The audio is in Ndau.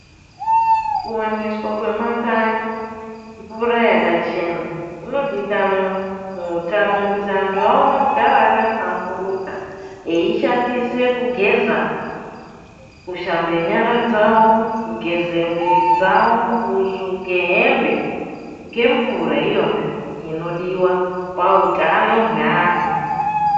Kuwaniswa kwemakanyi mvura yakachena, kunodikanwa muutano kuti anthu aone kugara aka hlamburuka, eishandisa kushamba, kushambe nyara dzawo, kugeza mwiri dzawo, kusuke hembe ngemvura iyona inodiwa pautano hweantu.